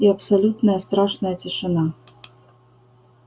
и абсолютная страшная тишина